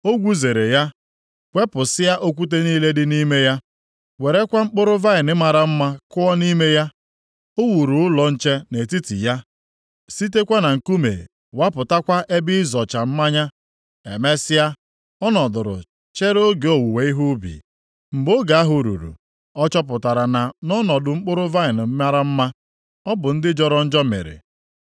O gwuzere ya, wepụsịa okwute niile dị nʼime ya, werekwa mkpụrụ vaịnị mara mma kụọ nʼime ya. O wuru ụlọ nche nʼetiti ya, sitekwa na nkume wapụtakwa ebe ịzọcha mmanya. Emesịa, ọ nọdụrụ chere oge owuwe ihe ubi. Mgbe oge ahụ ruru, ọ chọpụtara na nʼọnọdụ mkpụrụ vaịnị mara mma, ọ bụ ndị jọrọ njọ mịrị.